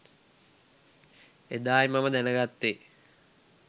එදා යි මම දැනගත්තේ